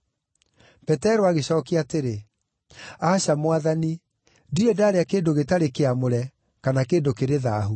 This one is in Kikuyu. Petero agĩcookia atĩrĩ, “Aca, Mwathani! Ndirĩ ndarĩa kĩndũ gĩtarĩ kĩamũre, kana kĩndũ kĩrĩ thaahu.”